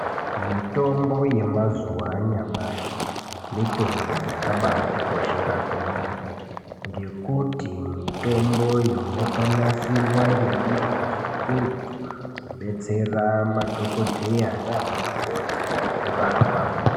Mitombo yemazuva anyamashi mitombo yakabatikoshera kwemene ngekuti mitombo iyo yakanasirwa ngeunyanzvi ukurutu kubetsera madhokodheya nana mukoti kurapa.